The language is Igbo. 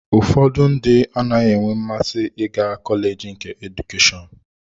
Ụfọdụ ndị anaghị enwe mmasị ịga kọleji nke Edukeshọn